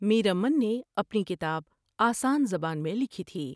میرامن نے اپنی کتاب آسان زبان میں لکھی تھی ۔